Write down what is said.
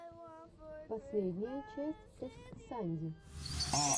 последняя часть эс санди